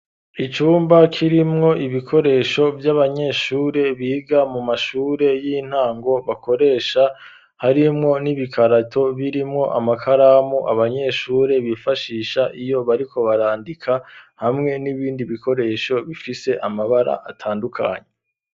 icyumba kirimwo ibikoresho by'abanyeshure biga mu mashure y'intango bakoresha harimwo n'ibikarato birimwo amakaramu abanyeshure bifashisha iyo bariko barandika hamwe n'ibindi bikoresho bifise amabara atandukanye